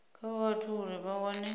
kha vhathu uri vha wane